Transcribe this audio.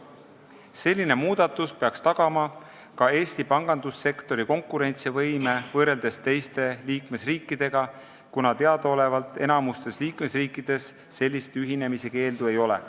See muudatus peaks tagama Eesti pangandussektori konkurentsivõime võrreldes teiste liikmesriikidega, kuna teadaolevalt enamikus liikmesriikides sellist ühinemise keeldu ei ole.